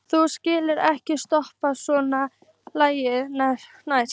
Þú skalt ekki stoppa svona lengi næst.